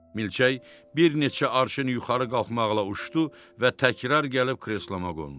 Milçək bir neçə arşın yuxarı qalxmaqla uçdu və təkrar gəlib kresloma qondu.